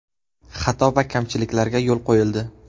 Xato va kamchiliklarga yo‘l qo‘yildi.